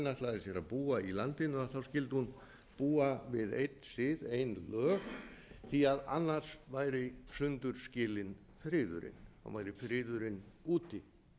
ætlaði sér að búa í landinu skyldi hún búa við einn sið ein lög því annars væri sundur skilinn friðurinn væri friðurinn úti